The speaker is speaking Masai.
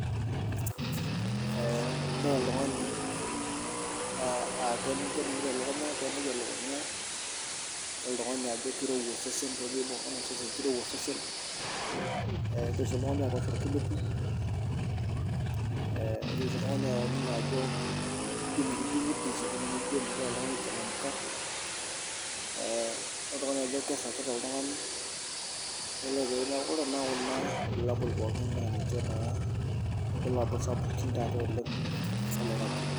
Idol oltungani aa kemwoi elukunya, idol oltungani aa kirowua osesen, lindim sii oltungani aturuto irkulupi, kidim sii oltungani atoningo ajo kidizzy ijo michangamka ,idol oltungani ajo kirokita oltungani .Neeku idol na kulo bulabul ajo ninche naa loloirobi.